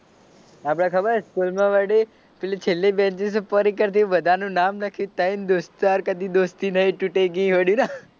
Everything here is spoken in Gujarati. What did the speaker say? આપડે ખબર સ્કૂલમાં વળી પેલી છેલ્લી બેનચીસે પરિકર થી બધાં નું નામ લખી ને ત્રણ દોસ્તાર કદી દોસ્તી નહીં તૂટેગી હોળી ના